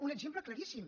un exemple claríssim